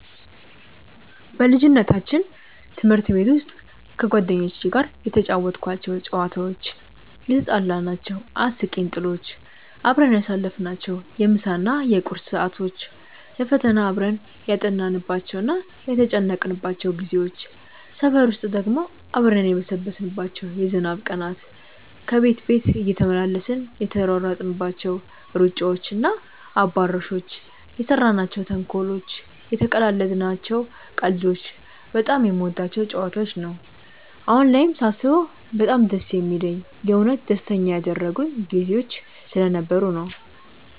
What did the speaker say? በልጅነታችን ትምህርት ቤት ውስጥ ከጓደኞቼ ጋር የተጫወትኳቸው ጨዋታዎች፣ የትጣላናቸው አስቂኝ ጥሎች፣ አብረን ያሳለፍናቸውን የምሳ እና የቁርስ ሰዓቶች፣ ለፈተና አብረን ያጠናንባቸው እና የተጨነቅንባቸው ጊዜዎች፣ ሰፈር ውስጥ ደግሞ አብረን የበሰበስንባቸው የዝናብ ቀናት፣ ከቤት ቤት እየተመላለስን የተሯሯጥናቸው ሩጫዎች እና አባሮሾች፣ የሰራናቸው ተንኮሎች፣ የተቀላለድናቸው ቀልዶች በጣም የምወዳቸው ጨዋታዎች ነው። አሁን ላይም ሳስበው በጣም ደስ የሚለኝ የእውነት ደስተኛ ያደረጉኝ ጊዜዎች ስለነበሩ ነው።